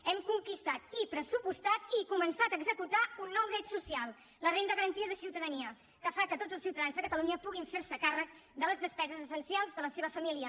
hem conquistat i pressupostat i començat a executar un nou dret social la renda garantida de ciutadania que fa que tots els ciutadans de catalunya puguin fer se càrrec de les despeses essencials de la seva família